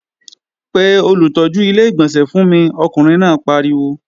Pe olùtọ́jú Ilé-ìgbọ̀nsẹ̀ fún mi! Ọkùnrin náà pariwo